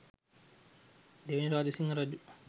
දෙවැනි රාජසිංහ රජු